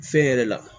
Fɛn yɛrɛ la